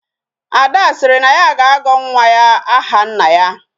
Ada siri na ya ga-agọ nwa ya aha nna ya